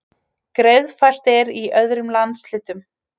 Greiðfært er í öðrum landshlutum